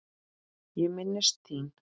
Ég minnist þín.